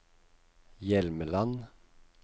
Hjelmeland